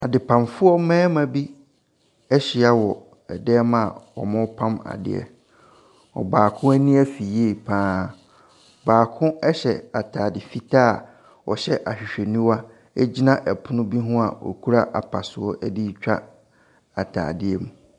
Adepamfoɔ mmarima bi ahyia wɔ dan mu a ɔrepam adeɛ. Ɔbaako ani afi yie paa. Baako ɛhyɛ ataade fitaa, ɔhyɛ ahwehwɛniwa egyina ɛpono bi hɔ a ɔkura apasoɔ retwa ataadeɛ mu.